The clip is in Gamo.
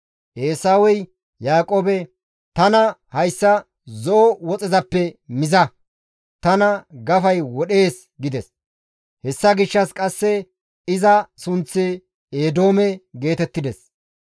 Eesawey Yaaqoobe, «Tana hayssa zo7o woxezappe miza; tana gafay wodhees» gides. (Hessa gishshas qasse iza sunththi Eedoome geetettides.)